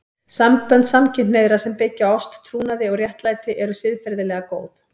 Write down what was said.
Sambönd samkynhneigðra sem byggja á ást, trúnaði og réttlæti eru siðferðilega góð.